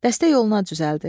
Dəstə yola düzəldi.